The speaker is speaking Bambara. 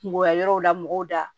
Kungoya yɔrɔw la mɔgɔw da